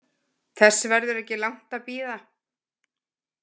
Þess verður ekki langt að bíða.